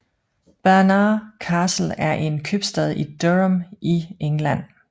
Barnard Castle er en købstad i Durham i England